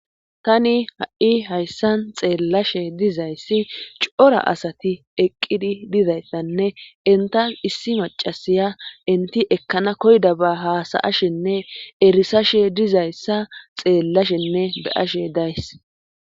Tani ha7i hayssan xeellashe dizayssi cora asati eqqidi dizayssanne intas issi macasiya inti ekkana koyda ba haasayashenne erisashe dizayssa xeellashenne be ashe days